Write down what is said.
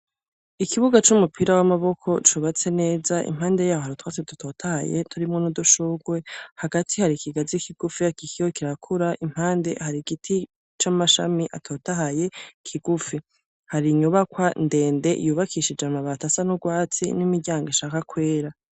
Ikibuga c'umupira w'amaboko cubatse neza, impande yaho Hari utwatsi dutotahaye turimwo n'udushurwe, hagati hari ikigazi kigufi kikiriko kirakura, impande hari igiti c'amashami atotahaye kigufi. Hari inyubakwa ndende yubakishije amabati asa n'urwatsi n'imiryango ishaka kwera.